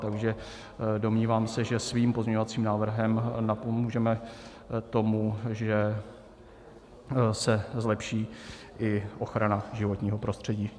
Takže domnívám se, že svým pozměňovacím návrhem napomůžeme tomu, že se zlepší i ochrana životního prostředí.